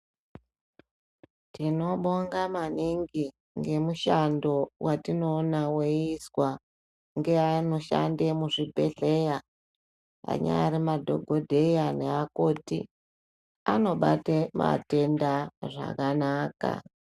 Tinobonga maningi ngemishando watinoona weiswa nevanoshanda muzvibhedhlera anaysri madhokodheya nevandamwo.